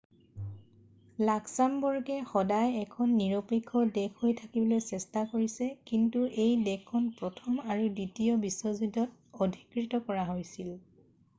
লাক্সামবৰ্গে সদায় এখন নিৰপেক্ষ দেশ হৈ থাকিবলৈ চেষ্টা কৰিছে কিন্তু এই দেশখন প্ৰথম আৰু দ্বিতীয় বিশ্বযুদ্ধত অধিকৃত কৰা হৈছিল